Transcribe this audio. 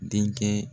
Denkɛ